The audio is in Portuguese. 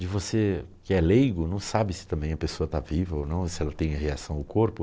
De você que é leigo, não sabe se também a pessoa está viva ou não, se ela tem reação ao corpo.